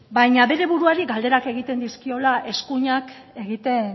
baina bere buruari galderak egiten dizkiola eskuinak egiten